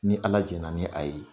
Ni ala jɛn na ni a ye .